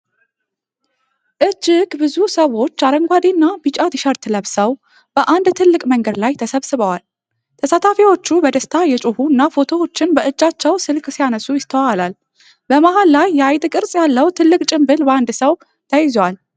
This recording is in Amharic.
እጅግ ብዙ ሰዎች አረንጓዴ እና ቢጫ ቲሸርት ለብሰው በአንድ ትልቅ መንገድ ላይ ተሰብስበዋል። ተሳታፊዎቹ በደስታ እየጮሁ እና ፎቶዎችን በእጃቸው ስልክ ሲያነሱ ይስተዋላል። በመሃል ላይ የአይጥ ቅርጽ ያለው ትልቅ ጭንብል በአንድ ሰው ተይዟል።